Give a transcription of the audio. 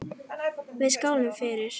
Við skálum fyrir